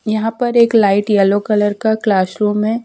यहां पर एक लाइट येलो कलर का क्लाश रूम है।